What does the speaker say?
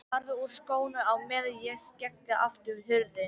Farðu úr skónum á meðan ég skelli aftur hurðinni.